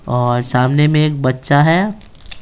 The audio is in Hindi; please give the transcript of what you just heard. और सामने में एक बच्चा है।